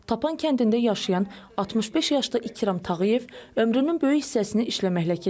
Tapan kəndində yaşayan 65 yaşlı İkram Tağıyev ömrünün böyük hissəsini işləməklə keçirib.